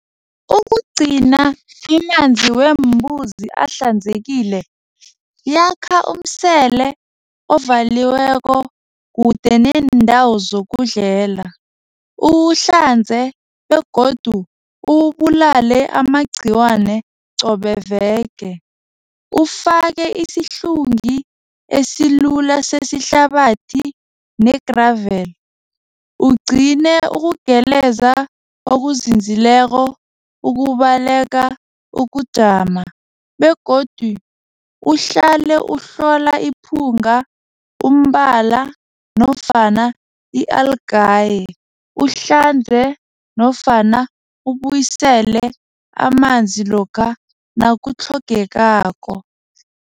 Ukugcina amanzi weembuzi ahlanzekile yakha umsele ovaliweko kude neendawo zokudlela. Uwuhlanze begodu uwubulale amagciwane qobe veke. Ufake isihlungi esilula sesihlabathi ne-gravel. Ugcine ukugeleza okuzinzileko ukubaleka ukujama begodu uhlale ukuhlola iphunga, umbala nofana i-algaye. Uhlanze nofana ubuyisele amanzi lokha nakutlhogekako.